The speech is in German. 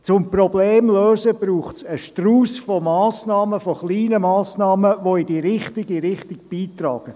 Um Probleme zu lösen, braucht es aber einen Strauss von Massnahmen, auch von kleinen Massnahmen, die in die richtige Richtung gehen.